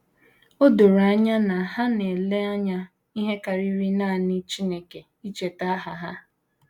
O doro anya na ha na - ele anya ihe karịrị nanị Chineke icheta aha ha.